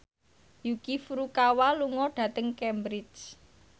Yuki Furukawa lunga dhateng Cambridge